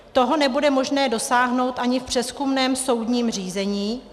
Toho nebude možné dosáhnout ani v přezkumném soudním řízení.